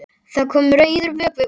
Það kom rauður vökvi út.